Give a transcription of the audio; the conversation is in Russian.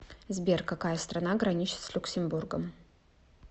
сбер какая страна граничит с люксембургом